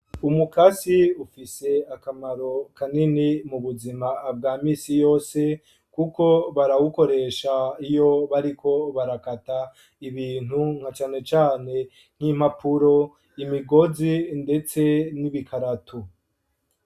Umukasi ufise akamaro kanini mu buzima bwa misi yose kuko barawukoresha iyo bariko barakata ibintu nka cane cane nk'impapuro ,imigozi ndetse n'ibikaratu .